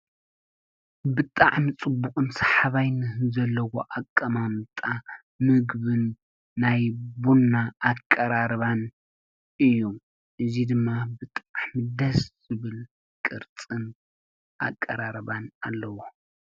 ብጥዕ ምጽቡቕ ም ስሓባይኒ ዘለዎ ኣቀማምጣ ምግብን ናይቡና ኣቀራርባን እዩ እዙይ ድማ ብጥዕምደስ ዝብል ቅርጽን ኣቀራርባን ኣለዎ።